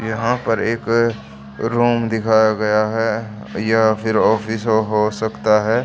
यहां पर एक रूम दिखाया गया है या फिर ऑफिस हो सकता है।